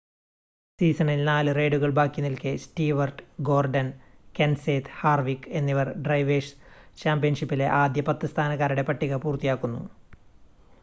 സീസണിൽ 4 റെയ്‌സുകൾ ബാക്കി നിൽക്കെ സ്റ്റീവർട്ട് ഗോർഡൻ കെൻസേത്ത് ഹാർവിക് എന്നിവർ ഡ്രൈവേഴ്‌സ് ചാമ്പ്യൻഷിപ്പിലെ ആദ്യ പത്ത് സ്ഥാനക്കാരുടെ പട്ടിക പൂർത്തിയാക്കുന്നു